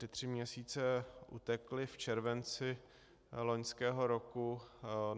Ty tři měsíce utekly v červenci loňského roku.